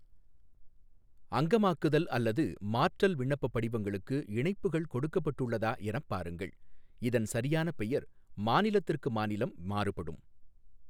அங்கமாக்குதல் அல்லது மாற்றல் விண்ணப்பப் படிவங்களுக்கு இணைப்புகள் கொடுக்கப்பட்டுள்ளதா எனப் பாருங்கள், இதன் சரியான பெயர் மாநிலத்திற்கு மாநிலம் மாறுபடும்.